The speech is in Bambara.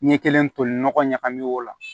Ɲɛ kelen toli nɔgɔ ɲagami o la